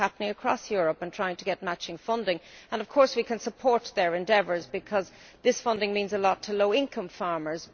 This is happening across Europe, with farmers trying to get matching funding, and we can support these endeavours because this funding means a lot to low income farmers.